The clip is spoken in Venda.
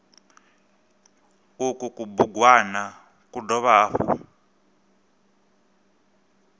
uku kubugwana ku dovha hafhu